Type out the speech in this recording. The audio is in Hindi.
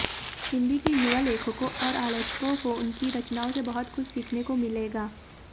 हिन्दी के युवा लेखकों और आलोचकों को उनकी रचनाओं से बहुत कुछ सीखने को मिलेगा